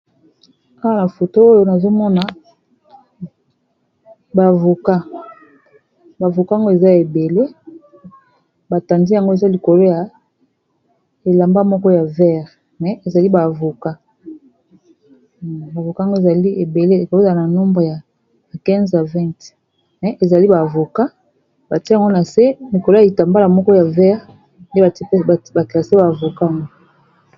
Awa foto oyo nazomona ba avocat, ba avocat ango eza ebele batandi yango eza likolo ya elamba moko ya vert mais ezali ba avocat. Ba avocat yango ezali ebele n'a nombre ya 15 a 20 mais ezali ba avocat batie yango na se likolo ya kitambala moko ya vert nde ba classé ba avocat ango.